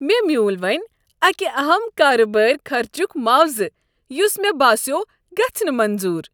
مےٚ میوٗل وٕنی اکہ اہم کاربٲری خرچک معاوضہٕ یس مےٚ باسیوو گژھہ نہٕ منظوٗر۔